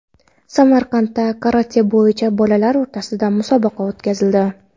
Samarqandda karate bo‘yicha bolalar o‘rtasida musobaqa o‘tkazildi .